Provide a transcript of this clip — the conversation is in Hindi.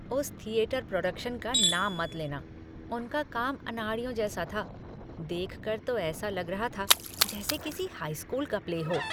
उसे थियेथर प्रोडक्शन का नाम मत लेना। उनका काम अनाड़ियों जैसा था। देखकर तो ऐसा लग रहा था जैसे किसी हाई स्कूल का प्ले हो।